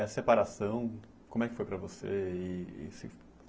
Essa separação, como é que foi para você e?